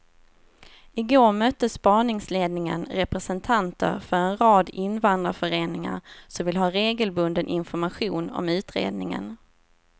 I går mötte spaningsledningen representanter för en rad invandrarföreningar som vill ha regelbunden information om utredningen.